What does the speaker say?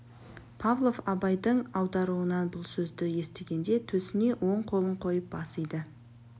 павлов абайдың аударуынан бұл сөзді естігенде төсіне оң қолын қойып бас иді